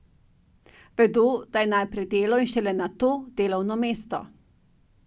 Vedo, da je najprej delo in šele nato delovno mesto.